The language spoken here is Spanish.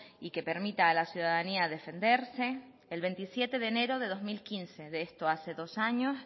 y que permita a la ciudadanía defenderse el veintisiete de enero de dos mil quince de esto hace dos años